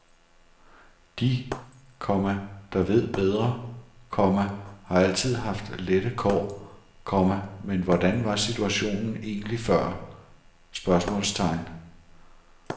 De, komma der ved bedre, komma har altid haft lette kår, komma men hvordan var situationen egentlig før? spørgsmålstegn